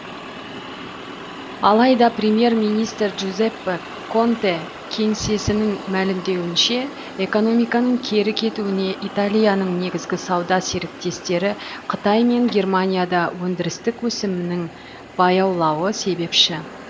алайда премьер министр джузеппе конте кеңсесінің мәлімдеуінше экономканың кері кетуіне италияның негізгі сауда серіктестері қытай мен германияда өндірістік өсімнің баяулауы себепші